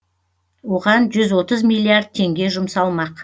оған жүз отыз миллиард теңге жұмсалмақ